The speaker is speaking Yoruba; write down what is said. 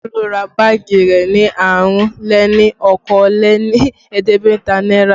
Tolu ra báàgì rẹ ní àrún-lé-ní-okòó-lé-ní-ẹ̀ẹ́dẹ́gbẹ̀ta náírà